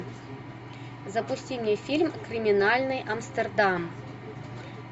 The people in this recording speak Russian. запусти мне фильм криминальный амстердам